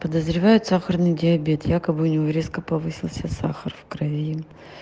подозревают сахарный диабет якобы у него резко повысился сахар в крови